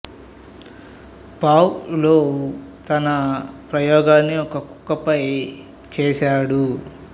pav Lowe తన ప్రయోగాన్ని ఒక కుక్క పై చేశాడు